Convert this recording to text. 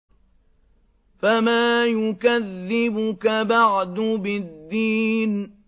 فَمَا يُكَذِّبُكَ بَعْدُ بِالدِّينِ